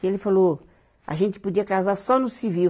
Que ele falou, a gente podia casar só no civil.